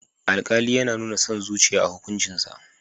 Alƙali yana nuna son zuciya a hukuncinsa.